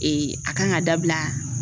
a kan ka dabila